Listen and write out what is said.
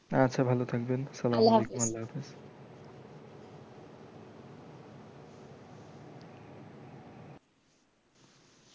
আচ্ছা ভালো থাকবেন আল্লা হাফিস।